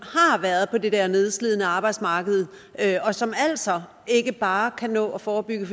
har været på det der nedslidende arbejdsmarked og som altså ikke bare kan nå at forebygge